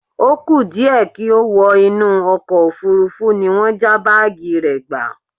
O kú díẹ̀ kí ó wọ inú ọkọ̀ òfuurufú ní wọ́n já báàgì rẹ̀ gbà